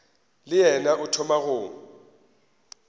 le yena o thoma go